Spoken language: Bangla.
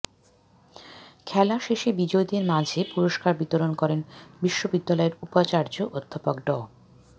খেলা শেষে বিজয়ীদের মাঝে পুরষ্কার বিতরণ করেন বিশ্ববিদ্যালয়ের উপাচার্য অধ্যাপক ড